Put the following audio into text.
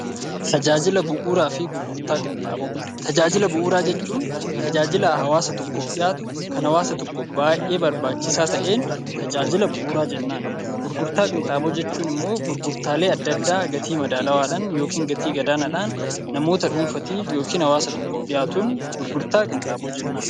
Tajaajila bu'uuraa jechuun tajaajila hawaasa tokkoof dhiyaatu kan hawaasa tokkoof baay'ee barbaachisaa ta'een tajaajila bu'uuraa jennaan. Gurgurtaa qinxaaboo jechuun immoo gurgurtaalee adda addaa gatii madaalawaadhaan yookiin gatii gadaanaadhaan namoota dhuunfaatiif yookiin hawaasa tokkoof dhiyaatuun gurgurtaa qinxaaboo jennaan.